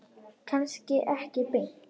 Kannski ekki beint.